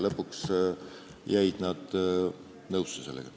Lõpuks jäid nad nõusse.